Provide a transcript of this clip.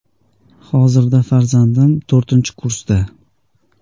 “Hozirda farzandim to‘rtinchi kursda.